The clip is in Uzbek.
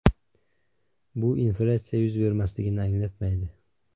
Bu inflyatsiya yuz bermasligini anglatmaydi.